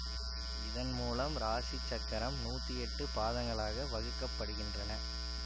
இதன் மூலம் இராசி சக்கரம் நூத்தி எட்டு பாதங்களாக வகுக்க படுகின்றன